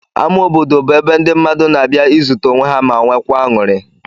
Ama obodo bụ ebe ndị mmadụ na-abịa izute onwe ha ma nwekwaa aṅụrị.